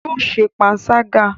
Yóò ṣe panṣágà